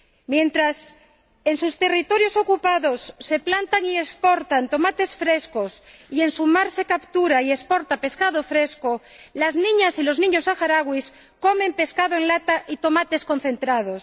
Mientras en sus territorios ocupados se plantan y exportan tomates frescos y en su mar se captura y exporta pescado fresco, las niñas y los niños saharauis comen pescado en lata y tomates concentrados.